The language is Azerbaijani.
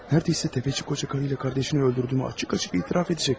Nə az qaldı ki, bu qoca qarı ilə qardaşını öldürdüyümü açıq-açıq etiraf edəcəkdim.